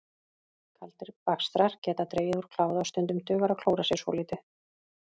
Kaldir bakstrar geta dregið úr kláða og stundum dugar að klóra sér svolítið.